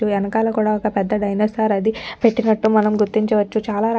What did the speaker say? ఎనకాల కూడా ఒక్కపెద్ద డైనోసార్ అది పెట్టినట్టు మనం గుర్తించవచ్చుచాలా రకాలైన --